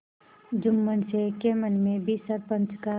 जुम्मन शेख के मन में भी सरपंच का